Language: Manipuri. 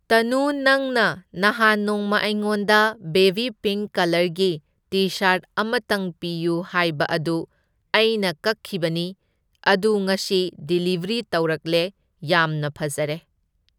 ꯇꯅꯨ ꯅꯪꯅ ꯅꯍꯥꯟ ꯅꯣꯡꯃ ꯑꯩꯉꯣꯟꯗ ꯕꯦꯕꯤ ꯄꯤꯡ ꯀꯂꯔꯒꯤ ꯇꯤ ꯁꯥꯔꯠ ꯑꯃꯇꯪ ꯄꯤꯌꯨ ꯍꯥꯏꯕ ꯑꯗꯨ ꯑꯩꯅ ꯀꯛꯈꯤꯕꯅꯤ, ꯑꯗꯨ ꯉꯁꯤ ꯗꯤꯔꯤꯕ꯭ꯔꯤ ꯇꯧꯔꯛꯂꯦ, ꯌꯥꯝꯅ ꯐꯖꯔꯦ꯫